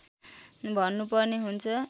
भन्नुपर्ने हुन्छ